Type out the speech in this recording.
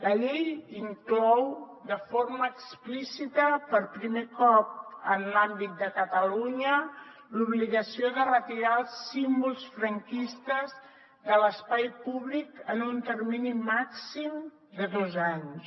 la llei inclou de forma explícita per primer cop en l’àmbit de catalunya l’obligació de retirar els símbols franquistes de l’espai públic en un termini màxim de dos anys